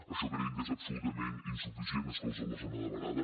això creiem que és absolutament insuficient exclosa la zona de varada